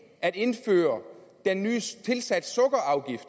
at indføre den nye tilsat sukker afgift